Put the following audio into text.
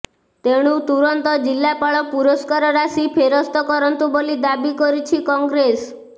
ତେଣୁ ତୁରନ୍ତ ଜିଲ୍ଲାପାଳ ପୁରସ୍କାର ରାଶି ଫେରସ୍ତ କରନ୍ତୁ ବୋଲି ଦାବି କରିଛି କଂଗ୍ରେସ